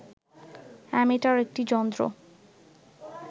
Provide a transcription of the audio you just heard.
ammeter একটি যন্ত্র